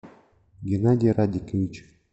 геннадий радикович